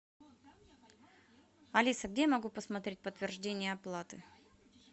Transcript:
алиса где я могу посмотреть подтверждение оплаты